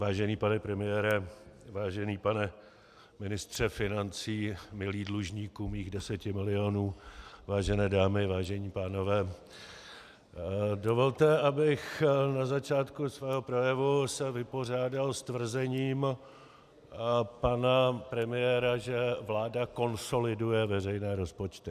Vážený pane premiére, vážený pane ministře financí, milý dlužníku mých deseti milionů, vážené dámy, vážení pánové, dovolte, abych na začátku svého projevu se vypořádal s tvrzením pana premiéra, že vláda konsoliduje veřejné rozpočty.